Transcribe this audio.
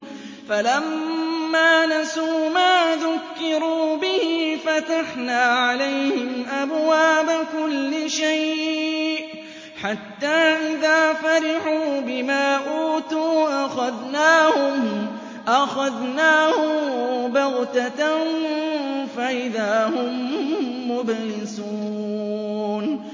فَلَمَّا نَسُوا مَا ذُكِّرُوا بِهِ فَتَحْنَا عَلَيْهِمْ أَبْوَابَ كُلِّ شَيْءٍ حَتَّىٰ إِذَا فَرِحُوا بِمَا أُوتُوا أَخَذْنَاهُم بَغْتَةً فَإِذَا هُم مُّبْلِسُونَ